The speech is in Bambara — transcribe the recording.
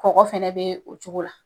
Kɔkɔ fɛnɛ be o cogo la.